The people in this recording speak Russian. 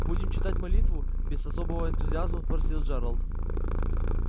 будем читать молитву без особого энтузиазма спросил джералд